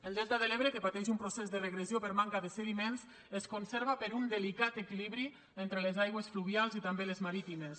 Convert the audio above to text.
el delta de l’ebre que pateix un procés de regressió per manca de sediments es conserva per un delicat equilibri entre les aigües fluvials i també les marítimes